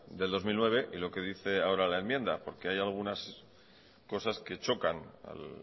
del dos mil nueve y lo que dice ahora la enmienda porque hay algunas cosas que chocan al